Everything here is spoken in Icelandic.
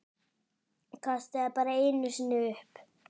Kastaði bara einu sinni upp.